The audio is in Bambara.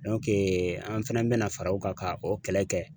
an fɛnɛ bɛna fara o kan ka o kɛlɛ kɛ.